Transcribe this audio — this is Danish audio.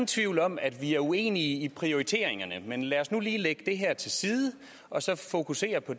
tvivl om at vi er uenige om prioriteringerne men lad os nu lige lægge det her til side og så fokusere på